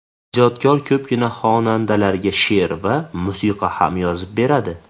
Ijodkor ko‘pgina xonandalarga she’r va musiqa ham yozib beradi.